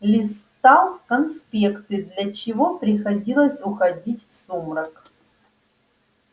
листал конспекты для чего приходилось уходить в сумрак